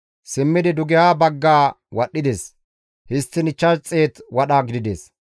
Simmidi dugeha bagga wadhdhides; histtiin 500 wadha gidides.